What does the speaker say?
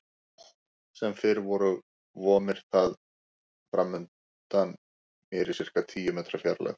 Sem fyrr vomir það framundan mér í sirka tíu metra fjarlægð.